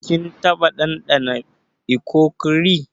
Kin taba dandana ikokore?